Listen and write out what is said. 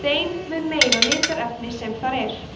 þeim mun meira litarefni sem þar er